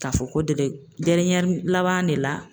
K'a fɔ ko laban de la